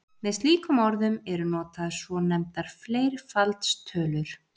Með slíkum orðum eru notaðar svonefndar fleirfaldstölur.